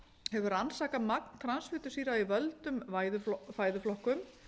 hefur rannsakað magn transfitusýra í völdum fæðuflokkum